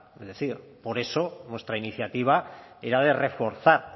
a es decir por eso nuestra iniciativa era de reforzar